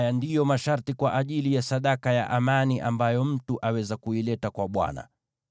“ ‘Haya ndiyo masharti kwa ajili ya sadaka ya amani ambayo mtu aweza kuileta kwa Bwana :